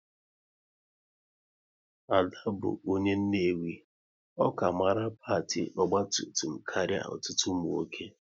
Ada bụ onye Nnewi, ọ ka mara pâti ogba tum tum karịa ọtụtụ ụmụ nwoke